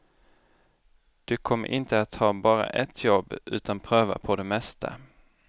Du kommer inte att ha bara ett jobb utan pröva på det mesta.